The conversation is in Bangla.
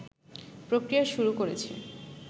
প্রক্রিয়া শুরু করেছে